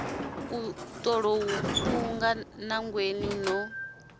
u tolou mphunga nangweni no